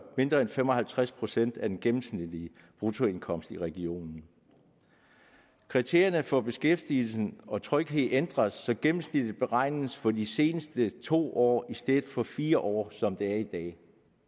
mindre end fem og halvtreds procent af den gennemsnitlige bruttoindkomst i regionen kriterierne for beskæftigelse og tryghed ændres så gennemsnittet beregnes for de seneste to år i stedet for fire år som det er i dag